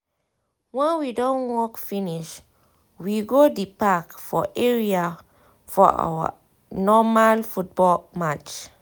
when we don work finish we go di park for area for our normal football match